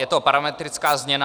Je to parametrická změna.